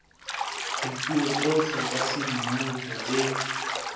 dipuo tsohle tsa semmuso tse